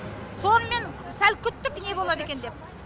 сонымен сәл күттік не болады екен деп